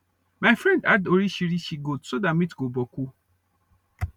my friend add orichirichi goat so that meat go boku